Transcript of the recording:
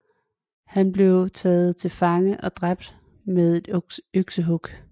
Han blev taget til fange og dræbt med et øksehug